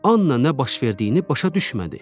Anna nə baş verdiyini başa düşmədi.